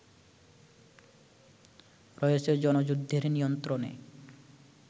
রয়েছে জনযুদ্ধের নিয়ন্ত্রণে